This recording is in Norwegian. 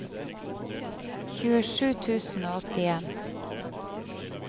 tjuesju tusen og åttien